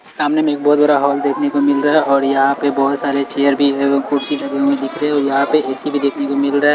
सामने में एक बहोत बड़ा हॉल देखने को मिल रहा है और यहां पे बहोत सारे चेयर भी है व कुर्सी लगे हुए दिख रहे हैं औ यहां पे ए_सी भी देखने को मिल रहा है।